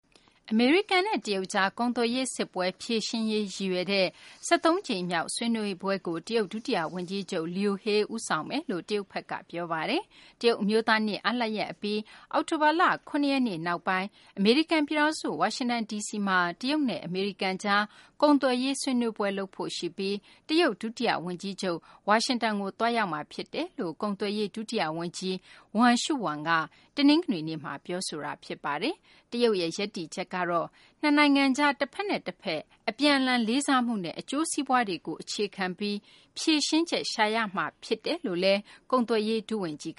အမေရိကန်နဲ့ တရုတ်ကြား ကုန်သွယ်ရေးစစ်ပွဲ ဖြေရှင်းရေး ရည်ရွယ်တဲ့ ၁၃ ကြိမ်မြောက် ဆွေးနွေးပွဲကို တရုတ် ဒုတိယဝန်ကြီးချုပ် Liu He ဦးဆောင်မယ်လို့ တရုတ်ဘက်က ပြောဆိုလိုက်ပါတယ်။ တရုတ်အမျိုးသားနေ့ အားလပ်ရက်အပြီး အောက်တိုဘာလ ၇ ရက်နေ့ နောက်ပိုင်းမှာ အမေရိကန်ပြည်ထောင်စု ဝါရှင်တန်ဒီစီမှာ တရုတ်နဲ့ အမေရိကန်ကြား ကုန်သွယ်ရေး ဆွေးနွေးပွဲ လုပ်ဖို့ရှိပြီး တရုတ် ဒုတိယဝန်ကြီးချုပ် Liu He က ဝါရှင်တန်ကို သွားရောက်မှာဖြစ်ကြောင်း ကုန်သွယ်ရေး ဒုတိယဝန်ကြီး Wang Shouwen က တနင်္ဂနွေနေ့မှာ ပြောဆိုပါတယ်။ တရုတ်ရဲ့ ရပ်တည်ချက်ကတော့ နှစ်နိုင်ငံကြား တဖက်နဲ့တဖက် အပြန်အလှန် လေးစားမှုနဲ့ အကျိုးစီးပွားတွေကို အခြေခံပြီး ဖြေရှင်းချက်ရှာရမှာ ဖြစ်တယ်လို့လည်း ကုန်သွယ်ရေး ဒုဝန်ကြီး